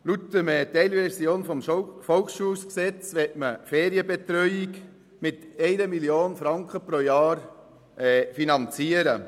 Laut der Teilrevision des Volksschulgesetzes (VSG) möchte man die Ferienbetreuung mit 1 Mio. Franken pro Jahr finanzieren.